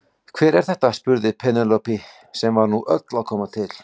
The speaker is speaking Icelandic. Þetta á sérstaklega við um þá poka sem fjúka út í veður og vind.